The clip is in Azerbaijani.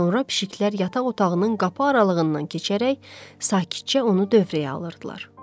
Sonra pişiklər yataq otağının qapı aralığından keçərək sakitcə onu dövrəyə alırdılar.